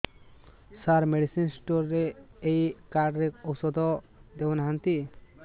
ସାର medicine store ରେ ଏଇ card ରେ ଔଷଧ ଦଉନାହାନ୍ତି